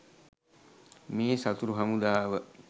මේ සතුරු හමුදාව.